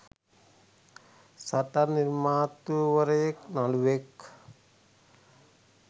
සටන් නිර්මාතෘවරයෙක් නළුවෙක්